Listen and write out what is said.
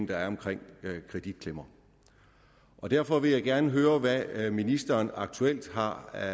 der er omkring kreditklemmer derfor vil jeg gerne høre hvad ministeren aktuelt har af